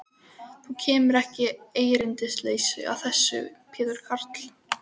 Þú kemur ekki erindisleysu að þessu sinni, Pétur karl.